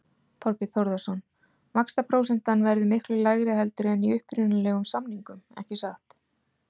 Þorbjörn Þórðarson: Vaxtaprósentan verður miklu lægri heldur en í upprunalegum samningum ekki satt?